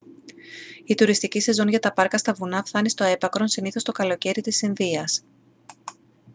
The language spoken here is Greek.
η τουριστική σεζόν για τα πάρκα στα βουνά φθάνει στο έπακρον συνήθως το καλοκαίρι της ινδίας